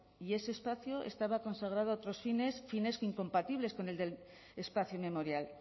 y ese espacio estaba consagrado a otros fines fines incompatibles con el del espacio memorial